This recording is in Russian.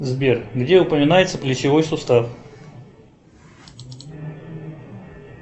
сбер где упоминается плечевой сустав